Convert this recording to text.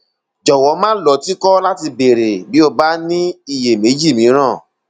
jọwọ má lọ tìkọ láti béèrè bí o bá ní iyèméjì mìíràn